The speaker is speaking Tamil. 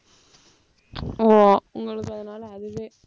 ஓ, உங்களுக்கு அதனால அதுவே